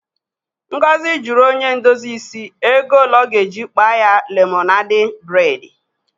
Ngozi jụrụ onye ndozi isi ego ole ọ ga-eji kpaa ya lemonadị bredi.